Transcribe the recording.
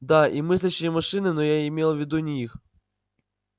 да и мыслящие машины но я имела в виду не их